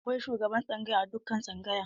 Akwai shugaban tsangaya a dukkan tsangaya.